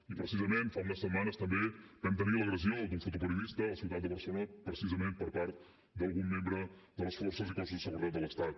i precisament fa una setmanes també vam tenir l’agressió d’un fotoperiodista a la ciutat de barcelona precisament per part d’algun membre de les forces i cossos de seguretat de l’estat